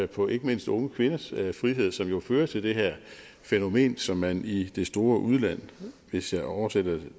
på ikke mindst unge kvinders frihed som jo fører til det her fænomen som man i det store udland hvis jeg oversætter det